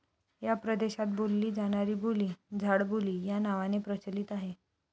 या प्रदेशात बोलली जाणारी बोली 'झाडबोली' या नावाने प्रचलित आहे.